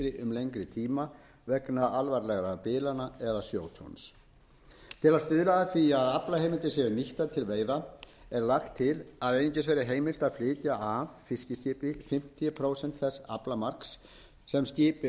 lengri tíma vegna alvarlegra bilana eða sjótjóns til að stuðla að því að aflaheimildir séu nýttar til veiða er lagt til að einungis verði heimilt að flytja af fiskiskipi fimmtíu prósent þess aflamarks sem skipi